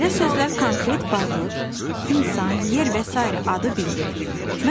Belə sözlər konkret varlıq, insan, yer və sairə adı bildirir.